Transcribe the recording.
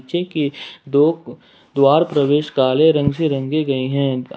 दो द्वार प्रवेश काले रंग से रंगे गए हैं।